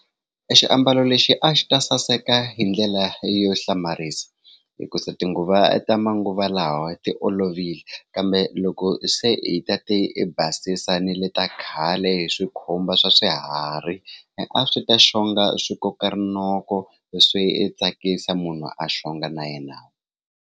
Exiambalo lexi a xi ta saseka hi ndlela yo hlamarisa hi ku sa tinguva ta manguva lawa ti olovile kambe loko se hi ta ti basisa ni le ta khale hi swikhumba swa swiharhi a swi ta xonga swi koka rinoko leswi i tsakisa munhu a xonga na yenavu.